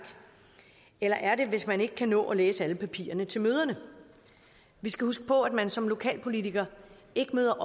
eller er det hvis man ikke kan nå at læse alle papirerne til møderne vi skal huske på at man som lokalpolitiker ikke møder